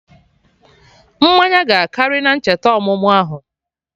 Mmanya gị akarị na-ncheta ọmụmụ ahụ